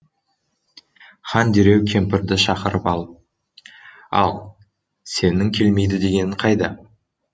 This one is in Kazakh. хан дереу кемпірді шақырып алып ал сенің келмейді дегенің қайда